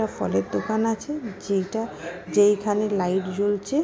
ফলের দোকান আছে যেটা যেইখানে লাইট জ্বলছে।